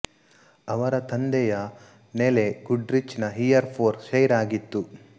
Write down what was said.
ಅವರ ತಂದೆಯ ನೆಲೆ ಗುಡ್ ರಿಚ್ ನ ಹೀಯರ್ ಪೋರ್ ಶೈರ್ ಆಗಿತ್ತು